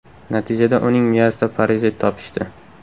Natijada uning miyasida parazit topishdi.